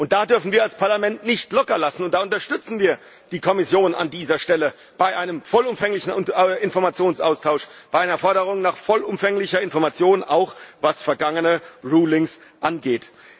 Da dürfen wir als Parlament nicht lockerlassen, da unterstützen wir die Kommission an dieser Stelle hinsichtlich eines vollumfänglichen Informationsaustauschs, bei einer Forderung nach vollumfänglicher Information auch was vergangene Rulings angeht.